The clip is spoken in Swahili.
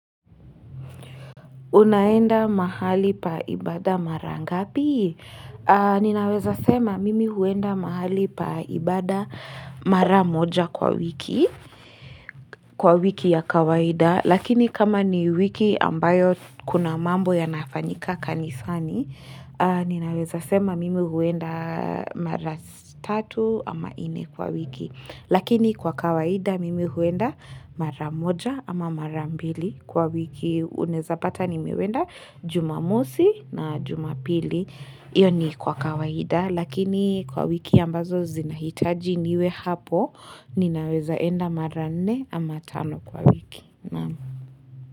Unaenda mahali pa ibada mara ngapi? Ninaweza sema mimi huenda mahali pa ibada mara moja kwa wiki, kwa wiki ya kawaida. Lakini kama ni wiki ambayo kuna mambo yanafanyika kanisani, ninaweza sema mimi huenda mara tatu ama ine kwa wiki. Lakini kwa kawaida mimi huenda mara moja ama mara mbili kwa wiki. Unaeza pata nimewenda jumamosi na jumapili iyo ni kwa kawaida lakini kwa wiki ambazo zinahitaji niwe hapo ninaweza enda mara nne ama tano kwa wiki.